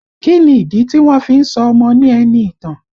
Kí ni ìdí tí wọ́n fí ń sọ ọmọ ní Ẹniìtàn?